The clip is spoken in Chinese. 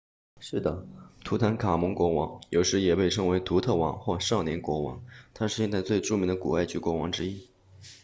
是的图坦卡蒙国王有时也被称为图特王或少年国王他是现代最著名的古埃及国王之一